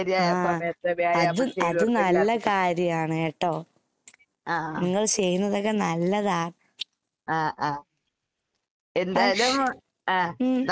ആഹ് അത് അത് നല്ല കാര്യാണ് കേട്ടോ. നിങ്ങൾ ചെയ്യുന്നതൊക്കെ നല്ലതാ. ഉം.